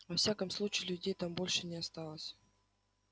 во всяком случае людей там больше не осталось